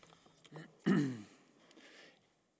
det